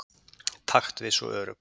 Taktviss og örugg.